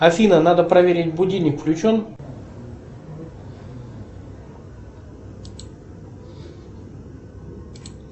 афина надо проверить будильник включен